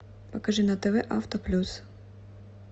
покажи на тв авто плюс